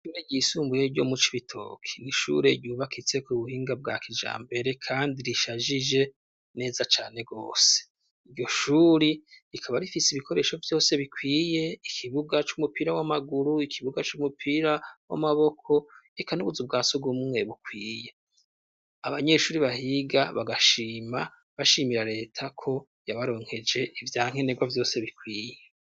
Ishure ryisumbuye ryo mu Cibitoke n'ishure ryubakitse k'ubuhinga bwa kijambere kandi rishajije neza cane gose, iryo shure rikaba rifise ibikoresho vyose bikwiye ikibuga c'umupira w'amaguru ikibuga c'umupira w'amaboko eka n'ubuzu bwa sugumwe bukwiye, abanyeshure bahiga bagashima bashimira leta ko yabaronkeje ivya nkenegwa vyose bikwiye.